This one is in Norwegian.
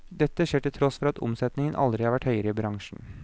Dette skjer til tross for at omsetningen aldri har vært høyere i bransjen.